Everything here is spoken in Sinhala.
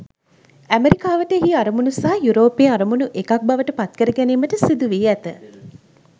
ඇමෙරිකාවට එහි අරමුණු සහ යුරෝපයේ අරමුණු එකක් බවට පත් කර ගැනීමට සිදුවී ඇත.